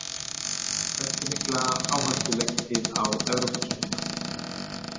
Hversu mikla áherslu leggið þið á Evrópukeppnina?